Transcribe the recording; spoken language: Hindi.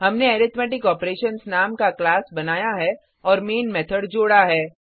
हमने अरिथमेटिक ऑपरेशन्स नाम का क्लास बनाया है और मैन मेथड जोडा है